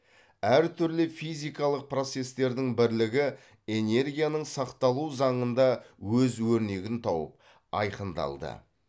әр түрлі физикалық процестердің бірлігі энергияның сақталу заңында өз өрнегін тауып айқындалды